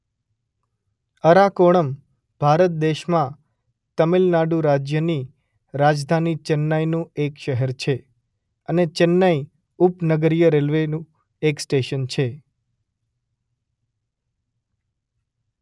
અરાકોણમ ભારત દેશમાં તમિલનાડુ રાજ્યની રાજધાની ચેન્નઈનું એક શહેર છે અને ચેન્નઈ ઉપનગરીય રેલવેનું એક સ્ટેશન છે.